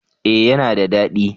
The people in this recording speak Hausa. eh ya na da dadi